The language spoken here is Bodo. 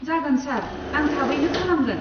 जागोन सार, आं थाबैनो खालामगोन।